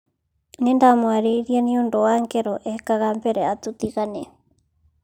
Nĩndamwarĩrie nĩũndũ wa ngero ekega mbere ya tũtigane.